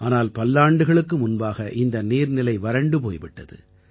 ஆனால் பல்லாண்டுகளுக்கு முன்பாக இந்த நீர்நிலை வறண்டு போய் விட்டது